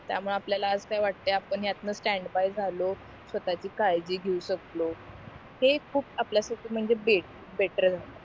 त्यामुळे आपल्याला आज काय वाटतंय आपण ह्यातनं स्टॅन्ड बाय झालो स्वतःची काळजी घेऊ शकलो हे खूप आपल्यासाठी म्हणजे बेटर